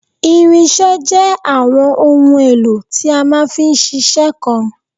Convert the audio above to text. irinṣẹ́ jẹ́ àwọn ohun èlò tí a máa fi ń ṣiṣẹ́ kan